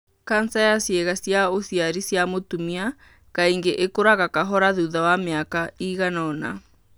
kanca ya ciĩga cia ũciari cia mũtumia kaingĩ ĩkũraga kahora thutha wa mĩaka ĩigana ũna.